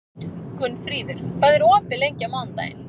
Gunnfríður, hvað er opið lengi á mánudaginn?